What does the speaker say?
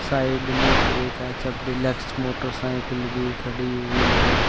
Side में एक HF deluxe motorcycle भी खड़ी हुई है।